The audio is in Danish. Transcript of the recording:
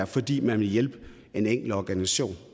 fordi man vil hjælpe en enkelt organisation